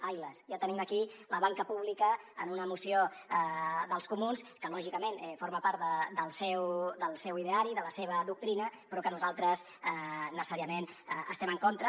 ai las ja tenim aquí la banca pública en una moció dels comuns que lògicament forma part del seu ideari de la seva doctrina però que nosaltres necessàriament hi estem en contra